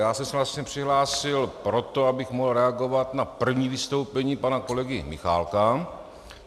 Já jsem se vlastně přihlásil proto, abych mohl reagovat na první vystoupení pana kolegy Michálka.